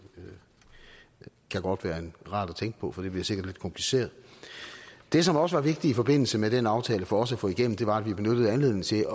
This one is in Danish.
kan godt være rart at tænke på for det bliver sikkert lidt kompliceret det som også var vigtigt i forbindelse med den aftale for os at få igennem var at vi benyttede anledningen til